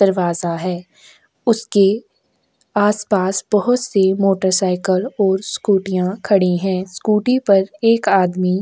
दरवाजा है उसके आस-पास बहुत से मोटरसाइकिल और स्कूटीयां खड़ी है स्कूटी पर एक आदमी--